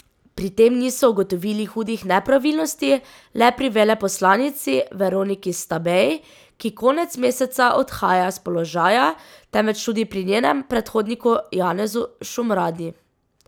Pri tem niso ugotovili hudih nepravilnosti le pri veleposlanici Veroniki Stabej, ki konec meseca odhaja s položaja, temveč tudi pri njenem predhodniku Janezu Šumradi.